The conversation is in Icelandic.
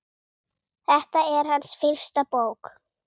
Þetta er hans fyrsta bók.